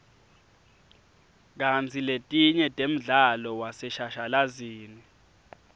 kantsi letinye temdlalo waseshashalazini